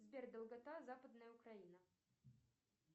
сбер долгота западная украина